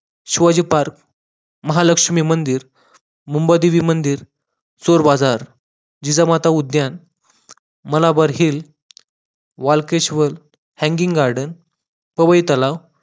Shivaji park, Mahalakshmi मंदिर, मुंबादेवी मंदिर, चोरबाजार, जिजा माता उद्यान, Malabar hill hanging garden Powai तलाव